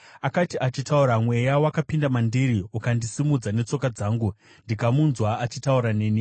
Akati achitaura, Mweya wakapinda mandiri ukandisimudza netsoka dzangu, ndikamunzwa achitaura neni.